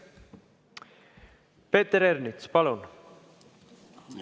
Peeter Ernits, palun!